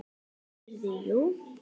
Heyrðu, jú.